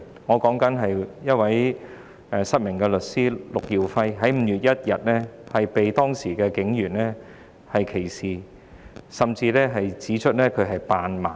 我所指的是失明律師陸耀輝，他在5月1日受到警員歧視，甚至被指扮盲。